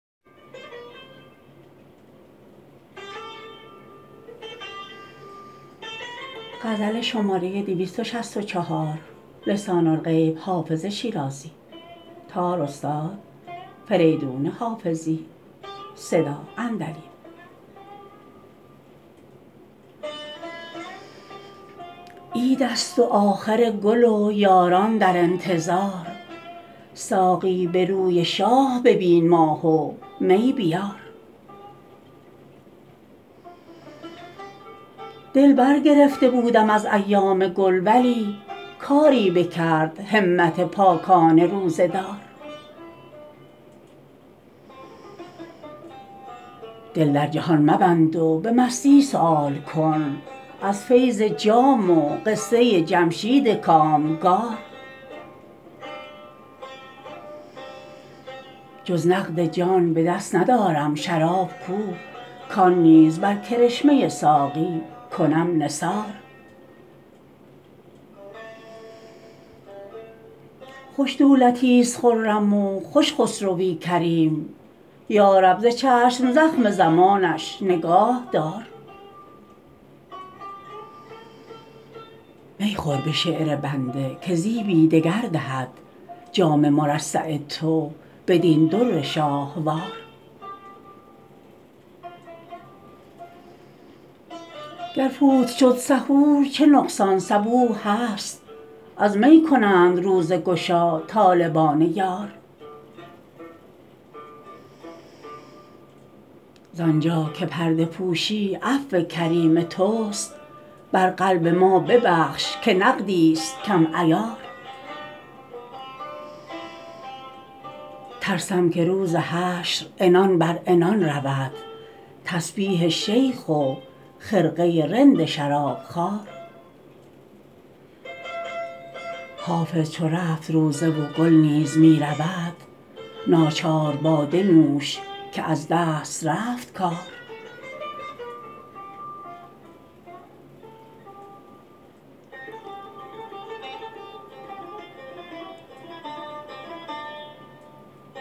عید است و آخر گل و یاران در انتظار ساقی به روی شاه ببین ماه و می بیار دل برگرفته بودم از ایام گل ولی کاری بکرد همت پاکان روزه دار دل در جهان مبند و به مستی سؤال کن از فیض جام و قصه جمشید کامگار جز نقد جان به دست ندارم شراب کو کان نیز بر کرشمه ساقی کنم نثار خوش دولتیست خرم و خوش خسروی کریم یا رب ز چشم زخم زمانش نگاه دار می خور به شعر بنده که زیبی دگر دهد جام مرصع تو بدین در شاهوار گر فوت شد سحور چه نقصان صبوح هست از می کنند روزه گشا طالبان یار زانجا که پرده پوشی عفو کریم توست بر قلب ما ببخش که نقدیست کم عیار ترسم که روز حشر عنان بر عنان رود تسبیح شیخ و خرقه رند شرابخوار حافظ چو رفت روزه و گل نیز می رود ناچار باده نوش که از دست رفت کار